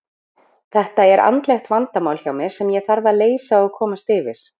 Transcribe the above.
Þetta er andlegt vandamál hjá mér sem ég þarf að leysa og komast yfir.